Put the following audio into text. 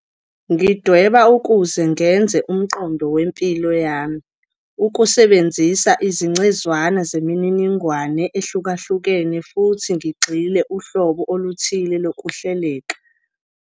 "Ngidweba ukuze ngenze umqondo wempilo yami, ukusebenzisa izingcezwana zemininingwane ehlukahlukene futhi ngigxilise uhlobo oluthile lokuhleleka, lapho ngikwazi ukubona umbono ongaqondakali.